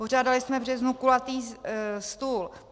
Pořádali jsme v březnu kulatý stůl.